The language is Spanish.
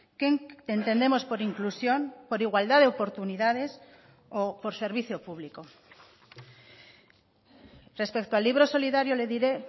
qué entendemos por inclusión por igualdad de oportunidades o por servicio público respecto al libro solidario le diré